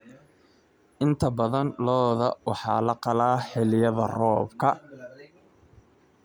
Inta badan lo'da waxaa la qalaa xilliyada roobka.